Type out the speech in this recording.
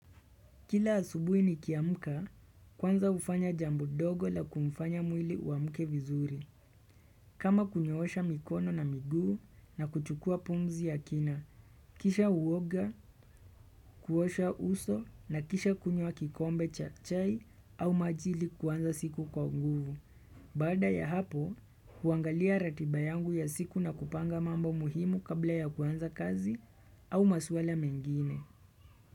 Kila asubuhi ni kiamuka, kwanza hufanya jambo dogo la kumfanya mwili uamuke vizuri. Kama kunyoosha mikono na miguu na kuchukua pumzi ya kina. Kisha uoga, kuosha uso na kisha kunywa kikombe cha chai au maji ili kwanza siku kwa nguvu. Baada ya hapo, huangalia ratiba yangu ya siku na kupanga mambo muhimu kabla ya kwanza kazi au maswala mengine.